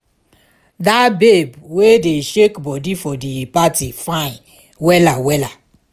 that babe wey dey shake body for di party fine wella wella